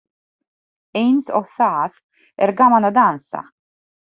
Eins og það er gaman að dansa!